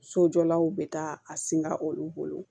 Sojɔlaw be taa a singa olu bolo